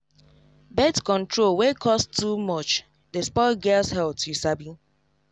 birth control wey cost too much dey spoil girls health you sabi